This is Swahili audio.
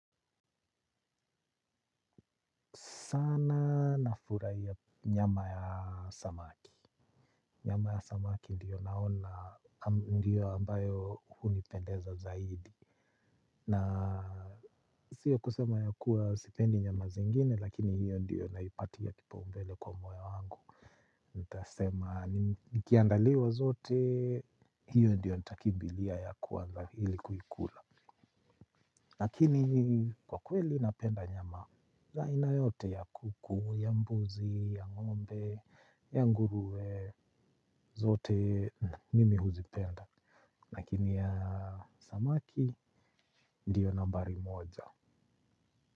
Sana nafurahia nyama ya samaki. Nyama ya samaki ndiyo naona, ndiyo ambayo hunipendeza zaidi. Na sio kusema ya kuwa sipendi nyama zingine, lakini hiyo ndiyo naipatia kipaumbele kwa moyo wangu. Nitasema, nikiandaliwa zote, hiyo ndiyo ntakmibilia ya kuwanza ili kuikula. Lakini kwa kweli napenda nyama za aina yote ya kuku, ya mbuzi, ya ngombe, ya nguruwe, zote mimi huzipenda lakini ya samaki ndiyo nambari moja.